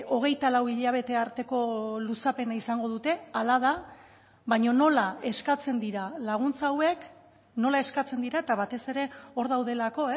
hogeita lau hilabete arteko luzapena izango dute hala da baina nola eskatzen dira laguntza hauek nola eskatzen dira eta batez ere hor daudelako